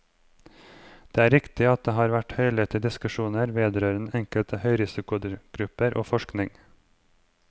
Det er riktig at det har vært høylytte diskusjoner vedrørende enkelte høyrisikogrupper og forsikring.